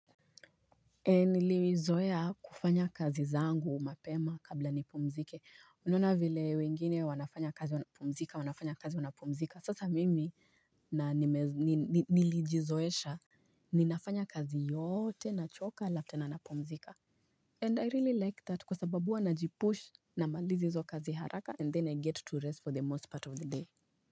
Nilizoea kufanya kazi zangu mapema kabla nipumzike unaona vile wengine wanafanya kazi wanapumzika wanafanya kazi wanapumzika sasa mimi nilijizoesha Ninafanya kazi yote nachoka halafu tena napumzika And I really like that kwa sababu huwa najipush na maliza hizo kazi haraka and then I get to rest for the most part of the day.